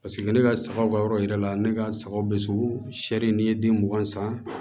Paseke ne ka sagaw ka yɔrɔ yira la ne ka sagaw bɛ sori n'i ye den mugan san